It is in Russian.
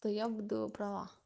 то я буду права